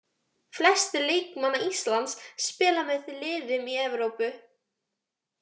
Flestir leikmanna Íslands spila með liðum í Evrópu.